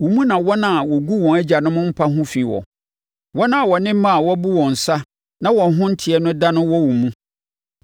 Wo mu na wɔn a wɔgu wɔn agyanom mpa ho fi wɔ. Wɔn a wɔne mmaa a wɔabu wɔn nsa, na wɔn ho nteɛ no da no wɔ wo mu.